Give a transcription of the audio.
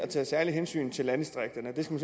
taget særlige hensyn til landdistrikterne den